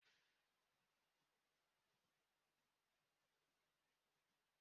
Ndị uwe ojii na-anwụchi onye ọ bụla dara iwu obodo